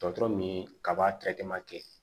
Dɔgɔtɔrɔ min kaba